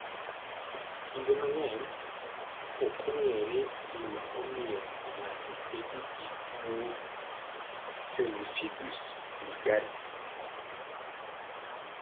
Kinde mang�eny, ok ong�ere gima omiyo ng�ato bedo gi tuo pemphigus vulgaris.